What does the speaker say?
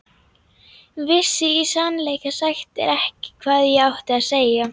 Vissi í sannleika sagt ekki hvað ég átti að segja.